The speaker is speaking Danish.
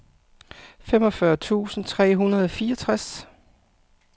femogfyrre tusind tre hundrede og fireogtres